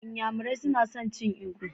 N'yamarai suna son cin ugba.